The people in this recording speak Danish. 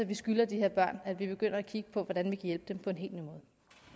vi skylder de her børn at vi begynder at kigge på hvordan vi kan hjælpe dem på en helt ny måde